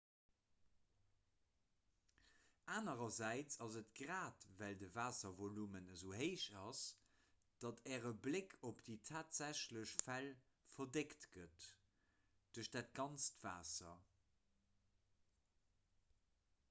anerersäits ass et grad well de waasservolume esou héich ass datt äre bléck op déi tatsächlech fäll verdeckt gëtt duerch dat ganzt waasser